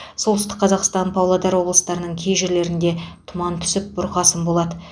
солтүстік қазақстан павлодар облыстарының кей жерлерінде тұман түсіп бұрқасын болады